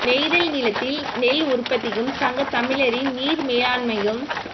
நெய்தல் நிலத்தில் நெல் உற்பத்தியும் சங்கத் தமிழரின் நீர் மேலாண்மையும்